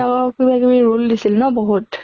কিবা কিবি rule দিছিল ন বহুত